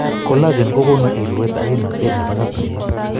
Collagen kogonu irweet ak kimnatet nebo katuiyet